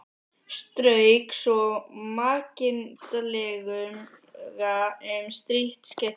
Strauk svo makindalega um strítt skeggið.